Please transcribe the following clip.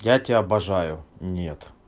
я тебя обожаю нет